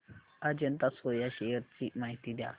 Ajanta soya shares ची माहिती द्या